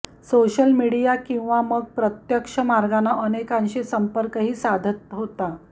social media किंवा मग प्रत्यक्ष मार्गानं अनेकांशी संपर्कही साधत होता